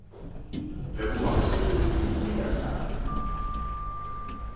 le bomakgolo go ya ka